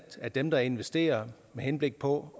at dem der investerer med henblik på